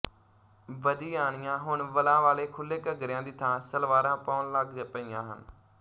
ਬਦੀਆਣੀਆਂ ਹੁਣ ਵਲਾਂ ਵਾਲੇ ਖੁਲ੍ਹੇ ਘੱਗਰਿਆਂ ਦੀ ਥਾਂ ਸਲਵਾਰਾਂ ਪਾਉਣ ਲੱਗ ਪਈਆਂ ਹਨ